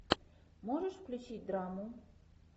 можешь включить драму